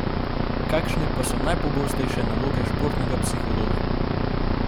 Kakšne pa so najpogostejše naloge športnega psihologa?